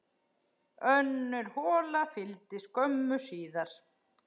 Önnur hola fylgdi skömmu síðar.